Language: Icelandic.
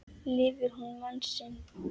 Lifir hún mann sinn.